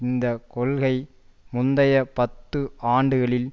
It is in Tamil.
இந்த கொள்கை முந்தைய பத்து ஆண்டுகளில்